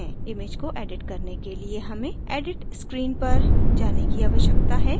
image को edit करने के लिए हमें edit screen पर पर जाने की आवश्यकता है